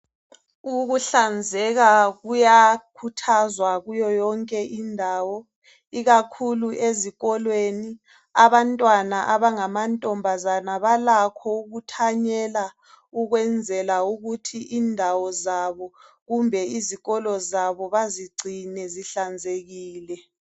Ukuhlanzeka kuyakhuthazwa kuyo yonke indawo. Ikakhulu ezikolweni .Abantwana abangamantombazana balakho ukuthanyela ukwenzela ukuthi indawo zabo . Kumbe izikolo zabo bazigcine zihlanzekile.